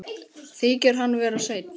Þykir hann vera seinn til.